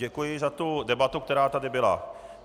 Děkuji za tu debatu, která tady byla.